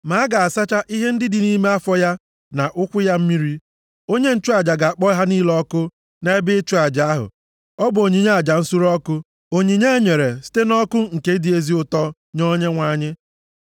Ma a ga-asacha ihe ndị dị nʼime afọ ya, na ụkwụ ya mmiri. Onye nchụaja ga-akpọ ha niile ọkụ nʼebe ịchụ aja ahụ. Ọ bụ onyinye aja nsure ọkụ, onyinye e nyere site nʼọkụ nke dị ezi ụtọ nye Onyenwe anyị.